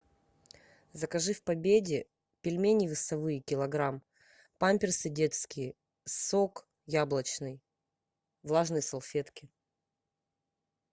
закажи в победе пельмени весовые килограмм памперсы детские сок яблочный влажные салфетки